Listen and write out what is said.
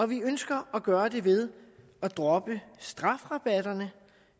vi ønsker at gøre det ved at droppe strafrabatterne